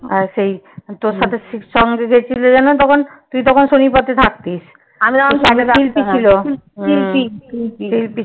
আর সেই তোর সাথে তোর সঙ্গে কে ছিল যেন তখন? তুই তখন শনিরপথে থাকতিস।